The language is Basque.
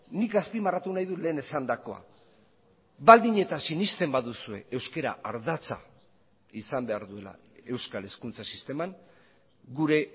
nik azpimarratu nahi dut lehen esandakoa baldin eta sinesten baduzue euskara ardatza izan behar duela euskal hezkuntza sisteman gure